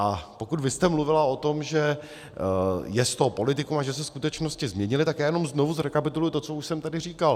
A pokud vy jste mluvila o tom, že je z toho politikum a že se skutečnosti změnily, tak já jenom znovu zrekapituluji to, co už jsem tady říkal.